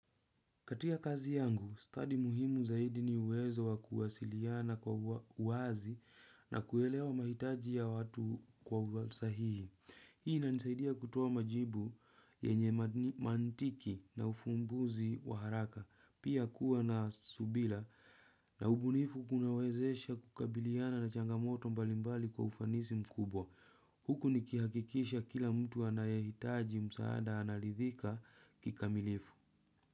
Katika kazi yangu, stadi muhimu zaidi ni uwezo wa kuwasiliana kwa uwazi na kuelewa mahitaji ya watu kwa usahihi. Hii inanisaidia kutoa majibu yenye mantiki na ufumbuzi wa haraka. Pia kuwa na subira na ubunifu, kunawezesha kukabiliana na changamoto mbalimbali kwa ufanisi mkubwa. Huku nikihakikisha kila mtu anayehitaji msaada anaridhika kikamilifu.